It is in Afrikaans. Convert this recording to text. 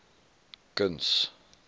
kuns